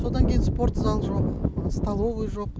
содан кейін спортзал жоқ столовый жоқ